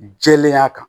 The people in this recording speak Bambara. Jɛlenya kan